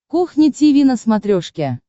кухня тиви на смотрешке